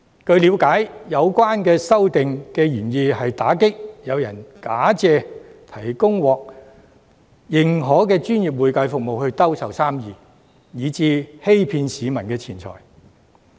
據了解，有關修訂的原意，是要打擊有人假借提供獲認可的專業會計服務來兜售生意，欺騙市民的錢財。